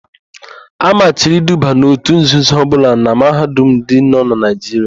A machiri iduba n òtù nzuzo ọbụla na Mahadum ndị nọ na Naijiria.